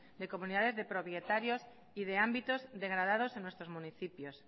de comunidades de propietarios y de ámbitos degradados en nuestros municipios